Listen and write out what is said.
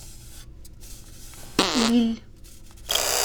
лилль